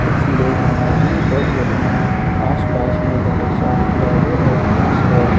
कुछ लोग वहां जिम कर रहे हैं आसपास में बहुत सारे पौधे और घास है।